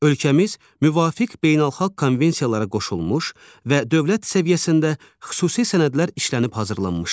Ölkəmiz müvafiq beynəlxalq konvensiyalara qoşulmuş və dövlət səviyyəsində xüsusi sənədlər işlənib hazırlanmışdır.